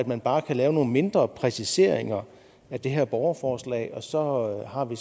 man bare kan lave nogle mindre præciseringer af det her borgerforslag og så har vi